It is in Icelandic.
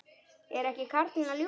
Er ekki karlinn að ljúga?